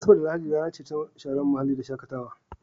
Asabar rana ce ta sharen muhalli da shakatawa.